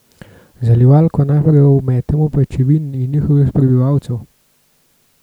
Zalivalko najprej ometemo pajčevin in njihovih prebivalcev.